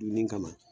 Dunni kama